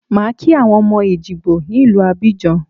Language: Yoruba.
Màá kí àwọn ọmọ Èjìgbò ní ìlú Abidjan